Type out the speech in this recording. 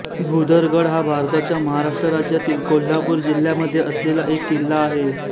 भुदरगड हा भारताच्या महाराष्ट्र राज्यातील कोल्हापूर जिल्ह्यामध्ये असलेला एक किल्ला आहे